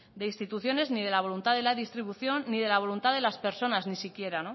de instituciones ni de la voluntad de la distribución ni de la voluntad de las personas ni siquiera